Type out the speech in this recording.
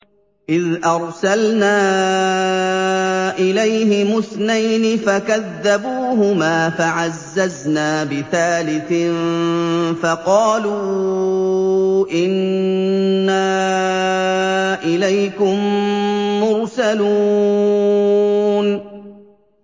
إِذْ أَرْسَلْنَا إِلَيْهِمُ اثْنَيْنِ فَكَذَّبُوهُمَا فَعَزَّزْنَا بِثَالِثٍ فَقَالُوا إِنَّا إِلَيْكُم مُّرْسَلُونَ